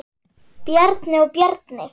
Bjarni og Bjarni